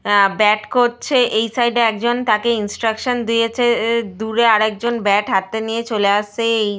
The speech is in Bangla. অ্যা ব্যাট করছে। এই সাইড -এ একজন তাকে ইন্সট্রাকশন দিয়েছে। দূরে আর একজন ব্যাট হাতে নিয়ে চলে আসছে। এই --